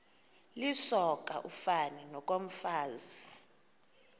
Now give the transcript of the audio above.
lisoka ufani nokomfazi